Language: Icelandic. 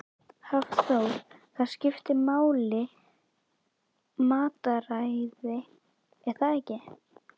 Hafþór: Það skiptir máli matarræðið er það ekki?